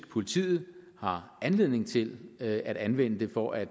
politiet har anledning til at anvende dem for at